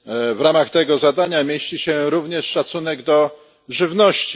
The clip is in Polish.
W ramach tego zadania mieści się również szacunek do żywności.